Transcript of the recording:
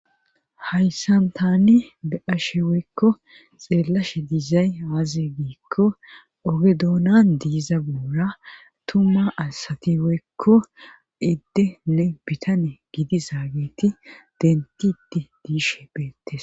hayssan tani be ashe woykko xeellashe diizay aazee giikko oge duunan diiza buura tumma asati woykko iddene bitane gidi zaageeti denti iti diishe beettes